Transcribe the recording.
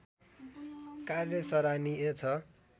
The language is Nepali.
कार्य सराहनीय छ